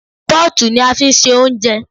Pọ́ọ̀tù ni a fi ń ṣe ounjẹ